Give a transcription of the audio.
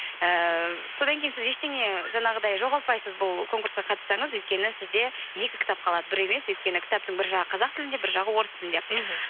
ііі содан кейін сіз ештеңе жаңағыдай жоғалтпайсыз бұл конкурсқа қатыссаңыз өйткені сізде екі кітап қалады бір емес өйткені кітаптың бір жағы қазақ тілінде бір жағы орыс тілінде мхм